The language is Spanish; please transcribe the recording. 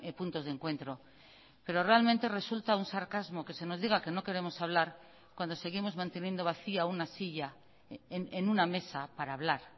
puntos de encuentro pero realmente resulta un sarcasmo que se nos diga que no queremos hablar cuando seguimos manteniendo vacía una silla en una mesa para hablar